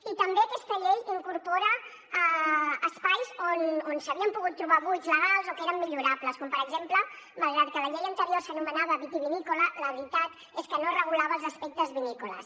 i també aquesta llei incorpora espais on s’havien pogut trobar buits legals o que eren millorables com per exemple malgrat que la llei anterior s’anomenava vitivinícola la veritat és que no regulava els aspectes vinícoles